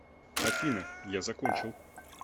афина я закончил